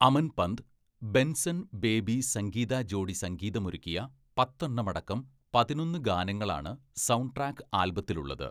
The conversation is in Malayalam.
അമൻ പന്ത്, ബെൻസൺ ബേബി സംഗീത ജോഡി സംഗീതമൊരുക്കിയ പത്തെണ്ണമടക്കം പതിനൊന്ന് ഗാനങ്ങളാണ് സൗണ്ട്ട്രാക്ക് ആൽബത്തിലുള്ളത്.